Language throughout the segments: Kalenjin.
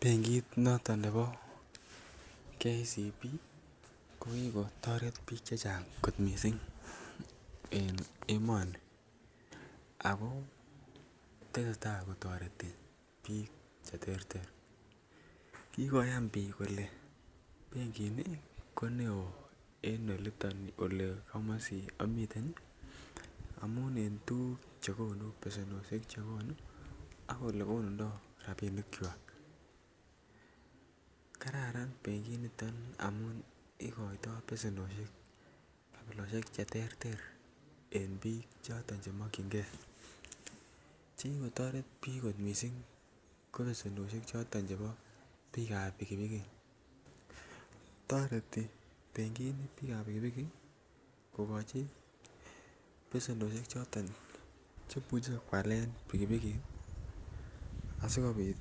Benkit noton nebo KCB ko ki kotoret bik chechang kot mising en emoni ako tesetai kotoreti bik Che terter kikoyan bik kole benkini ko neo eng komasi a miten amun en besenwogik Che konu ak olekonuntoi rabinkwak kararan benkini amun igoitoi besenwogik kabilosiek Che terter eng bik choton Che mokyingei che ki kotoret bik kot mising ko besenwogik choton chebo bikap pikipiki toreti benkini bikap pikipiki kogochi besenwogik Che imuche koalen pikipiki asi kobit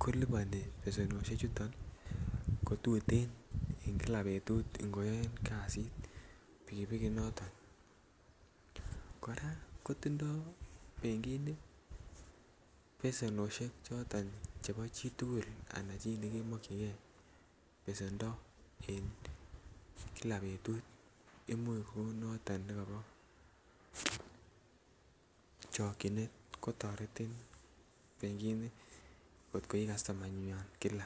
koliponi besenwogik chuto ko tuten en kila betut ngo yoen kasit pikipiki noton kora kotindoi benkini besenwogik choton chebo chitugul anan choto Che mokyingei besenwogik en kila betut Imuch kou noto nekibo chokyinet kotoretin benkini angot ko ii kastomayandenywa kila